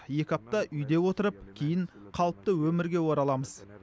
екі апта үйде отырып кейін қалыпты өмірге ораламыз